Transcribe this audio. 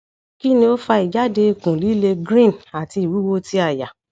kini o fa ijade ikun lile green ati iwuwo ti aya